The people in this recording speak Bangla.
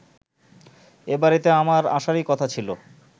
এবাড়িতে আমার আসারই কথা ছিল